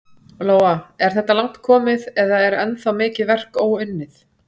Lóa: Er þetta langt komið eða er ennþá mikið verk óunnið?